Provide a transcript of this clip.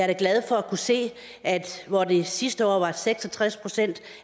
da glad for at kunne se at hvor det sidste år var seks og tres procent